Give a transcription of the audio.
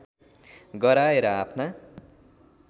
गराएर आफ्ना